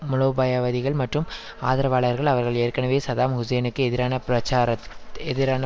மூலோபாயவாதிகள் மற்றும் ஆதரவாளர்கள் அவர்கள் ஏற்கனவே சதாம் ஹுசேனுக்கு எதிரான பிரச்சார எதிரான